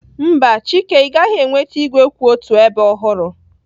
Mba, Chike, ị gaghị enweta igwe kwụ otu ebe ọhụrụ